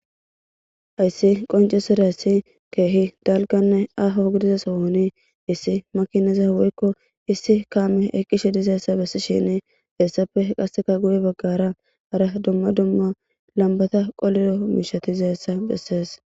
Hayssi qonceserayssi keehi dalganne aho gidiza sohoni issi makineza woykko issi kaame eqishe dizeessa bessi shini heessappe qasseka guye baggara hara dumma dumma lambata qolilo miishatizeessa bessees